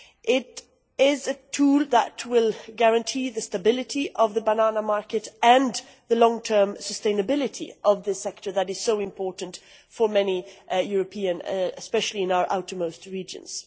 It is a tool that will guarantee the stability of the banana market and the long-term sustainability of this sector, which is so important for many Europeans, especially in our outermost regions.